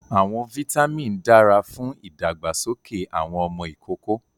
Awọn vitamin dara fun ìdàgbàsókè awọn ọmọ ikoko